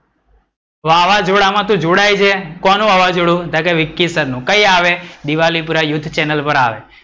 વાવજોડામાં તું જોડાય છે? કોનું વાવજોડું તો કે વિકીસરનું. કઈ આવે? દિવાલીપુરા યૂથ ચેનલ પર આવે.